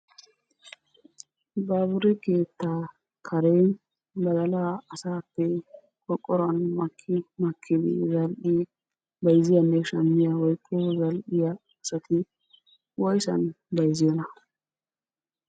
Baabure keettaa karen badalaa asaappe qorqoruwan maki makkidi bayzziyanne shammiya woyikko zal"iyaa asati woysan bayzziyoonaa?